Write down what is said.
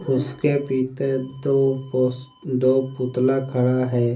उसके पीते दो कोस दो पुतला खड़ा है।